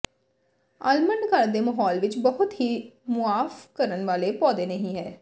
almond ਘਰ ਦੇ ਮਾਹੌਲ ਵਿਚ ਬਹੁਤ ਹੀ ਮੁਆਫ ਕਰਨ ਵਾਲੇ ਪੌਦੇ ਨਹੀਂ ਹੈ